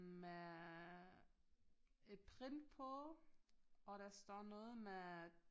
Med et print på og der står noget med